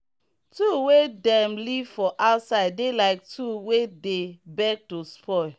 tool wey dem leave for outside dey like tool wey dey beg to spoil.